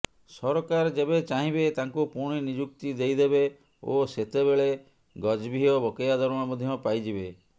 ସରକାର ଯେବେ ଚାହିଁବେ ତାଙ୍କୁ ପୁଣି ନିଯୁକ୍ତି ଦେଇଦେବେ ଓ ସେତେବେଳେ ଗଜଭିୟ ବକେୟା ଦରମା ମଧ୍ୟ ପାଇଯିବେ